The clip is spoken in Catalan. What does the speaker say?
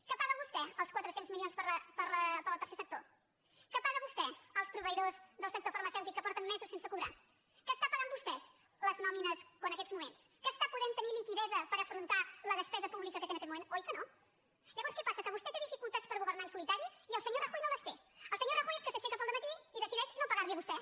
que paga vostè els quatre cents mi lions per al tercer sector que paga vostè els proveïdors del sector farmacèutic que porten mesos sense cobrar que estan pagant vostès les nòmines en aquests moments que està podent tenir liquiditat per afrontar la despesa pública que té en aquest moment oi que no llavors què passa que vostè té dificultats per governar en solitari i el senyor rajoy no les té el senyor rajoy és que s’aixeca al dematí i decideix no pagar li a vostè